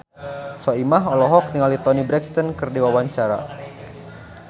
Soimah olohok ningali Toni Brexton keur diwawancara